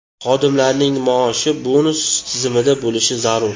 Xodimlarning maoshi bonus tizimida bo‘lishi zarur.